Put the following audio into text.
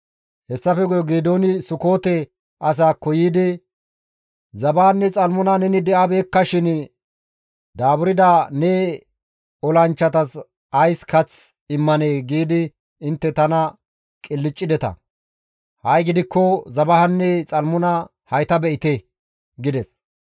Hessafe guye Geedooni Sukoote asaakko yiidi, « ‹Zebahanne Xalmuna neni di7abeekkashin daaburda ne olanchchatas ays kath immanee?› giidi intte tana qilccideta; ha7i gidikko Zebahanne Xalmuna hayta be7ite!» gides.